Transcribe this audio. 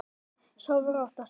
Sofðu rótt, ástin mín.